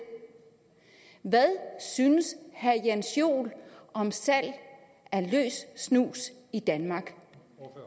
hvad synes herre jens joel om salg af løs snus i danmark